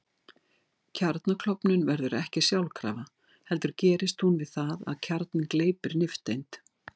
Kjarnaklofnun verður ekki sjálfkrafa heldur gerist hún við það að kjarninn gleypir nifteind.